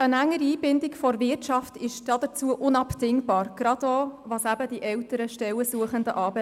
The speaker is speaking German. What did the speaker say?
Eine engere Einbindung der Wirtschaft ist hierfür unabdingbar, gerade auch, was die älteren Stellensuchenden anbelangt.